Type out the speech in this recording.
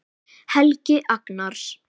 Helgi Agnars.